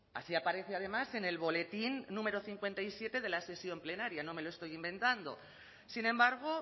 así aparece además en el boletín número cincuenta y siete de la sesión plenaria no me lo estoy inventando sin embargo